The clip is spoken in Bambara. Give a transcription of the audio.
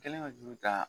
Kɛlen ka juru ta